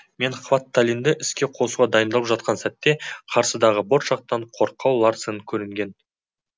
мен хватталинді іске қосуға дайындап жатқан сәтте қарсыдағы борт жақтан қорқау ларсен көрінген